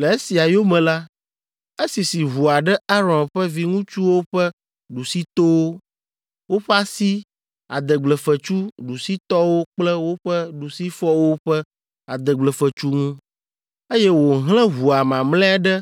Le esia yome la, esisi ʋua ɖe Aron ƒe viŋutsuwo ƒe ɖusitowo, woƒe asi adegblefetsu ɖusitɔwo kple woƒe ɖusifɔwo ƒe adegblefetsu ŋu, eye wòhlẽ ʋua mamlɛa ɖe